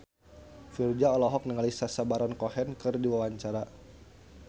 Virzha olohok ningali Sacha Baron Cohen keur diwawancara